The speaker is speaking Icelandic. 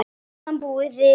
Á meðan bíðum við.